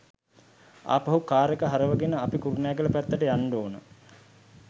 ආපහු කාර් එක හරවාගෙන අපි කුරුණෑගල පැත්තට යන්න ඕන.